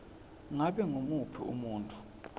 ngabe ngumuphi umuntfu